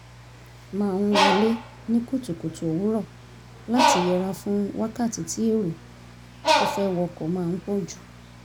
máa ń wọlé ní kùtùkùtù òwúrọ̀ láti yẹra fún wákàtí tí èrò tó fẹ́ wọkọ̀ máa ń pọ̀ jù